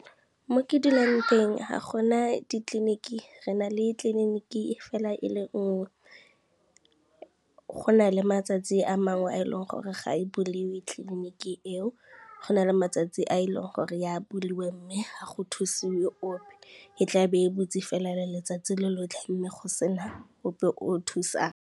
Mo ke dulang teng ga gona ditleliniki re na le tleliniki fela e le nngwe. Go na le matsatsi a mangwe a e leng gore ga e buliwe tleliniki eo, go na le matsatsi a e leng gore ya buliwa mme ga go thusiwe ope, e tla be e butsi fela letsatsi lotlhe mme go se na ope o thusang.